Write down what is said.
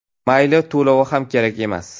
Mayli, to‘lovi ham kerak emas.